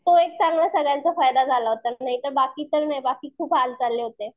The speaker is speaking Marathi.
तो एक सगळ्यांचा चांगला फायदा झाला होता. नाहीतर बाकी काही नाही बाकी खूप हाल चालले होते.